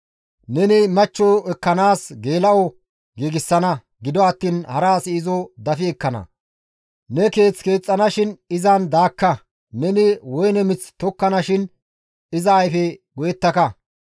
Neni machcho ekkanaas geela7o giigsana; gido attiin hara asi izo dafi ekkana; ne keeth keexxanashin izan daakka; neni woyne mith tokkanashin iza ayfe go7ettaka.